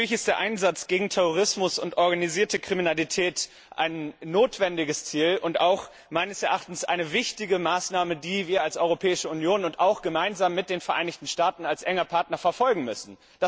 Natürlich ist der Einsatz gegen Terrorismus und organisierte Kriminalität ein notwendiges Ziel und meines Erachtens auch eine wichtige Maßnahme, die wir als Europäische Union und auch gemeinsam mit den Vereinigten Staaten als engem Partner verfolgen müssen.